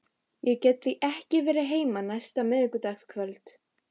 Ég get því ekki verið heima næsta miðvikudagskvöld.